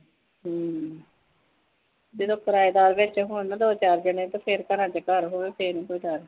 ਹਮ ਜਦੋ ਕਰਾਇਦਾਰ ਵਿਚ ਹੋਣ ਨਾ ਦੋ ਚਾਰ ਜਣੇ ਘਰਾਂ ਵਿਚ ਘਰਾਂ ਹੋਵੇ ਫੇਰ ਨਹੀ ਕੋਈ ਡਰ